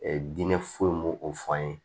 diinɛ foyi m'o o fɔ an ye